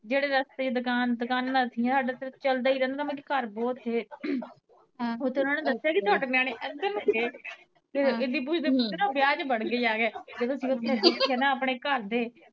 ਜੇੜੇ ਰਸਤੇ ਚ ਦੁਕਾਨ ਦੁਕਾਨਾਂ ਸੀਗੀਆਂ ਆਪਣੇ ਸਾਡਾ ਤਾਂ ਚਲਦਾ ਈ ਰੇਂਦਾ ਘਰ ਬਹੁਤ ਥੇ ਉਥੇ ਉਨਾਂ ਨੇ ਦਸਿਆ ਵੀ ਤੁਆਡੀਆਂ ਨੇ ਏਦਰ ਨੂੰ ਗਏ ਓਥੇ ਏਦੀ ਪੁੱਛਦੇ ਪੁੱਛਦੇ ਉਹ ਵਿਆਹ ਚ ਵੜ ਗੇ ਜਾ ਕੇ ਜਦੋ ਅਸੀਂ ਓਥੇ ਦੇਖੇ ਨਾ ਆਪਣੇ ਘਰਦੇ